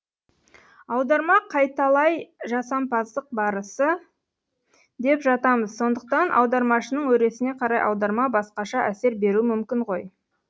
аударма қайталай жасампаздық барысы деп жатамыз сондықтан аудармашының өресіне қарай аударма басқаша әсер беруі мүмкін ғой